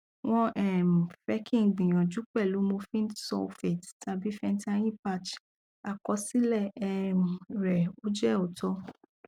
won um fe ki n gbiyanju pelu morphine sulfate tabi fentayi patch akosile um re o je ooto